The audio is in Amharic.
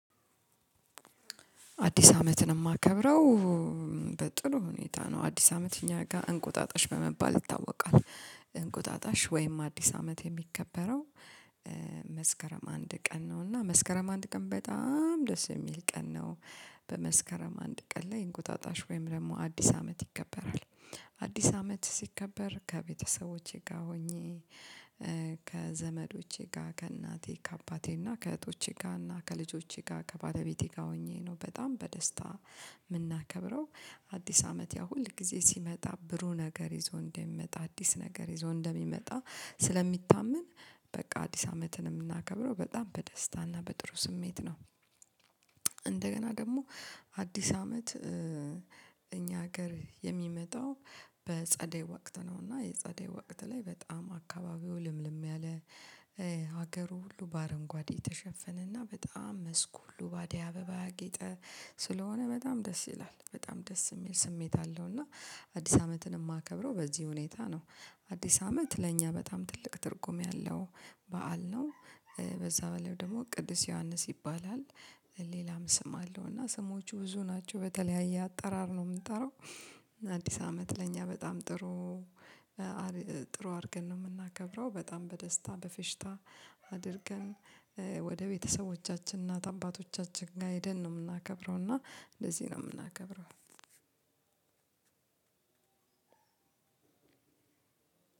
አዲስ አመትን የማከብረው በጥሩ ሁኔታ ነው። አዲስ አመት እኛ ጋር እንቁጣጣሽ በመባል ይታወቃል። እንቁጣጣሽ ወይም አዲስ አመት የሚከበረው መስከረም አንድ ቀን ነው እና መስከረም አንድ ቀን በጣም ደስ የሚል ቀን ነው። በመስከረም አንድ ቀን ላይ እንቁጣጣሽ ወይም ደግሞ አዲስ አመት ይከበራል። አዲስ አመት ሲከበር ከቤተሰቦቼ ጋር ሆኜ ከዘመዶቼ ጋር ከእናቴ ከአባቴ እና ከእህቶቼ ጋር እና ከልጆቼ ጋር ከባለቤቴ ጋር ሆኜ ነው በጣም በደስታ የምናከብረው። አዲስ አመት ያ ሁል ጊዜ ሲመጣ ብሩህ ነገር ይዞ እንደሚመጣ አዲስ ነገር ይዞ እንደሚመጣ ስለሚታመን በቃ አዲስ አመትንም ምናከብረው በጣም በደስታና በጥሩ ስሜት ነው። እንደገና ደግሞ አዲስ አመት። ሀገር የሚመጣው በጸደይ ወቅት ነው እና የጸደይ ወቅት ላይ በጣም አካባቢው ልምልም ያለ። ሀገሩ ሁሉ በአረንጓዴ የተሸፈነና በጣም መስኩ ሁሉ በአደይ አበባ ያጌጠ ስለሆነ በጣም ደስ ይላል በጣም ደስ የሚል ስሜት አለው። እና አዲስ አመትን የማከብረው በዚህ ሁኔታ ነው። አዲስ አመት ለእኛ በጣም ትልቅ ትርጉም ያለው በዓል ነው። በዛ በላይ ደግሞ ቅዱስ ዮሐንስ ይባላል። ሌላም ስም አለው እና ስሞቹ ብዙ ናቸው በተለያየ አጠራር ነው የምንጠራው። አዲስ አመት ለእኛ በጣም ጥሩ ጥሩ አድርገን ነው የምናከብረው በጣም በደስታ በፌሽታ አድርገን። ወደ ቤተሰቦቻችን እና እናት አባቶቻችን ጋር ሄደን ነው የምናከብረው እና እንደዚህ ነው የምናከብረው። አንድ